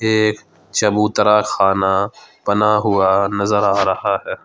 ये चबूतरा खाना बना हुआ नजर आ रहा है।